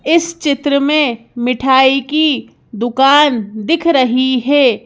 इस चित्र में मिठाई की दुकान दिख रही है।